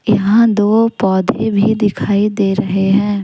यहां दो पौधे भी दिखाई दे रहे हैं।